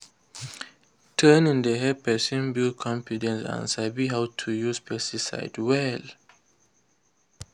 training dey help person build confidence and sabi how to use pesticide well.